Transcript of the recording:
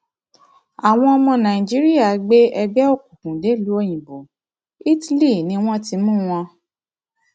àwọn ọmọ nàìjíríà gbé ẹgbẹ òkùnkùn dèlùú òyìnbó italy ni wọn ti mú wọn